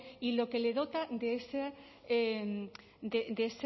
y lo que le dota